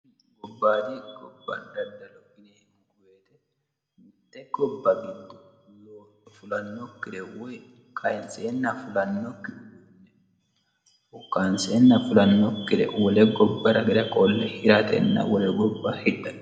Gobayiidi gobba giddo daddalo yinanni woyiite mitte gobba giddo kayiinsenna fulannokkire wole gobbara qolle hiratena hidhate.